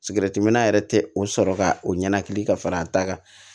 Sigɛritiminna yɛrɛ tɛ o sɔrɔ ka o ɲɛnakili ka fara a ta kan